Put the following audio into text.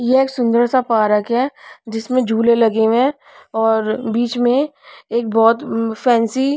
ये एक सुंदर सा पारक है जिसमें झूले लगे हुए हैं और बीच में एक बहुत फैंसी --